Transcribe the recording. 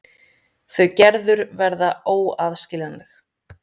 Þau Gerður verða óaðskiljanleg.